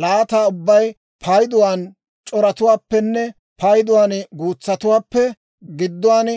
Laata ubbay payduwaan c'oratuwaappenne payduwaan guutsatuwaappe gidduwaan